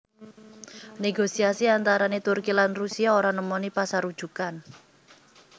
Negosiasi antarané Turki lan Rusia ora nemoni pasarujukan